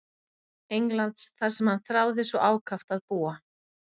Englands þar sem hann þráði svo ákaft að búa.